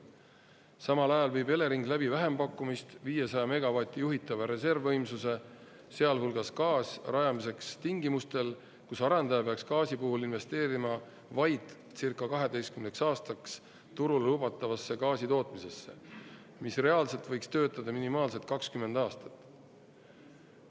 Samal ajal viib Elering läbi vähempakkumist 500 megavati juhitava reservvõimsuse, sealhulgas gaas, rajamiseks tingimustel, kus arendaja peaks gaasi puhul investeerima vaid circa 12 aastaks turule lubatavasse gaasi tootmisesse, mis reaalselt võiks töötada minimaalselt 20 aastat.